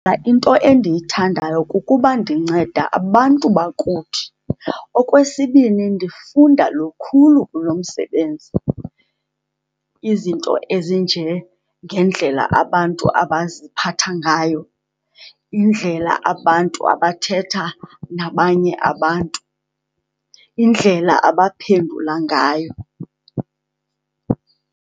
Into endiyithandayo kukuba ndinceda abantu bakuthi. Okwesibini, ndifunda lukhulu kulo msebenzi. Izinto ezinjengendlela abantu abaziphatha ngayo. Indlela abantu abathetha nabanye abantu. Indlela abaphendula ngayo.